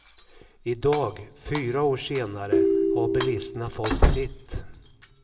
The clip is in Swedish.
Idag, fyra år senare, har bilisterna fått sitt.